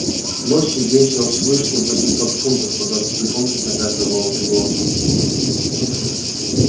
лось весил свыше восьмисот фунтов по двадцати фунтов на каждую волчью глотку